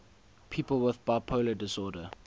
people with bipolar disorder